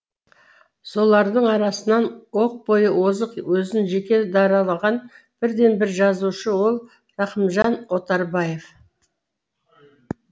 солардың арасынан оқ бойы озық өзін жеке даралаған бірден бір жазушы ол рахымжан отарбаев